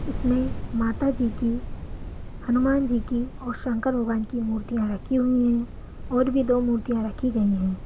इसमे माता जी की हनुमान जी की और शंकर भगवान की मूर्तियां रखी हुई है और भी दो मूर्तियां रखी गई है।